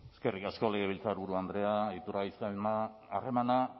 eskerrik asko legebiltzarburu andrea iturgaiz jauna harremana